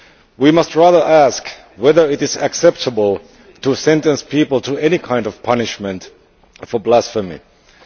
We must rather ask whether it is acceptable to sentence people to any kind of punishment for blasphemy.